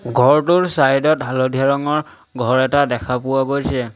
ঘৰটোৰ ছাইড ত হালধীয়া ৰঙৰ ঘৰ এটা দেখা পোৱা গৈছে।